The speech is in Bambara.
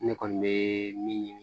Ne kɔni bɛ min ɲini